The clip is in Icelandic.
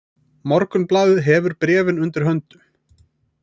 Morgunblaðið hefur bréfin undir höndum